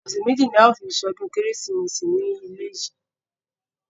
Ọ̀sẹ̀ méjì ní a ó fi ṣọdún kérésìmesì ní ilé yìí.